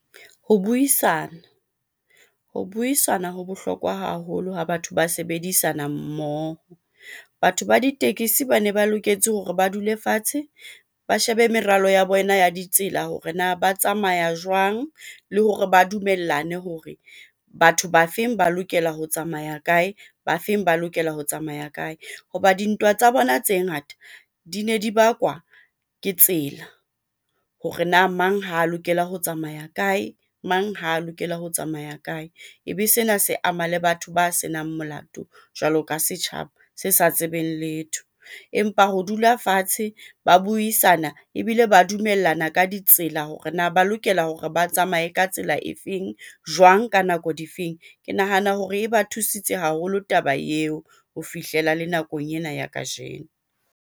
Ho buisana ho bohlokwa haholo ho batho ba sebedisana mmoho. Batho ba ditekesi ba ne ba loketse hore ba dule fatshe ba shebe meralo ya bona ya ditsela hore na ba tsamaya jwang le hore ba dumellane hore batho ba feng ba lokela ho tsamaya kae, ba feng ba lokela ho tsamaya kae, ho ba dintwa tsa bona tse ngata di ne di bakwa ke tsela, hore na mang ha lokela ho tsamaya kae, mang ha lokela ho tsamaya kae. Ebe sena se ama le batho ba senang molato jwalo ka setjhaba se sa tsebeng letho. Empa ho dula fatshe ba buisana ebile ba dumellana ka ditsela, hore na ba lokela hore ba tsamaye ka tsela e feng, jwang ka nako difeng. Ke nahana hore e ba thusitse haholo taba eo ho fihlela le nakong ena ya kajeno.